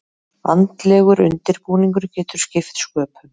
Andlegur undirbúningur getur skipt sköpum.